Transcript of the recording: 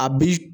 A bi